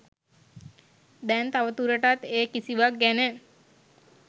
දැන් තව දුරටත් ඒ කිසිවක් ගැන